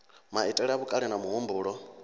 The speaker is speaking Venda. maitele a vhukale na muhumbulo